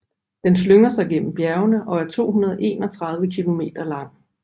Den slynger sig gennem bjergene og er 231 km lang